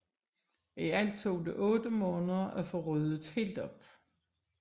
I alt tog det otte måneder for at få ryddet helt op